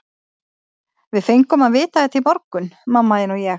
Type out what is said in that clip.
Við fengum að vita þetta í morgun, mamma þín og ég.